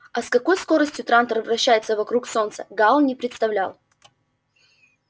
а с какой скоростью трантор вращается вокруг солнца гаал не представлял